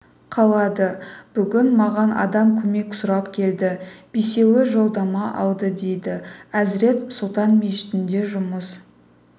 қалады бүгін маған адам көмек сұрап келді бесеуі жолдама алды дейді әзірет сұлтан мешітінде жұмыс